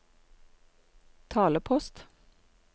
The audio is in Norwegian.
talepost